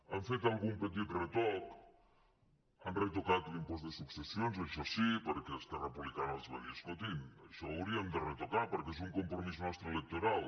han fet algun petit retoc han retocat l’impost de successions això sí perquè esquerra republicana els va dir escoltin això ho hauríem de retocar perquè és un compromís nostre electoral